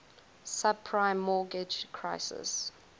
subprime mortgage crisis